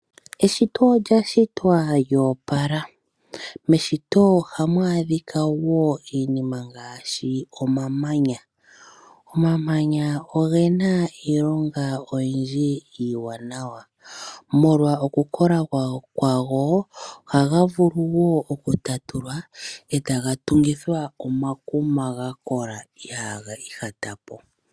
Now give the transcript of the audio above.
Eshito olya shitwa lyoopala, meshito oha mu adhika woo iinima ngaashi omamanya. Omamanya ogena iilonga oyindji iiwanawa molwa oku kola kwago, ohaga vulu woo okutatulwa eta tungithwa omakuma gakola ihaga ihatapo.